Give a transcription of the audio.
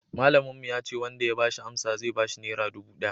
malamin mu ya ce wanda ya bashi amsa zai bashi nera dubu daya